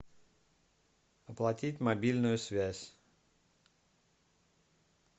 оплатить мобильную связь